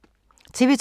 TV 2